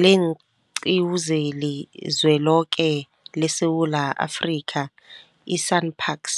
leenQiwu zeliZweloke leSewula Afrika, i-SANParks,